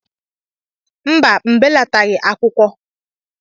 mba, m belataghị m nha akwụkwọ